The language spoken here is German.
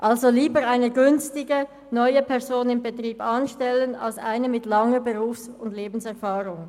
Eher wird eine günstige, neue Person im Betrieb angestellt als eine mit langer Berufs- und Lebenserfahrung.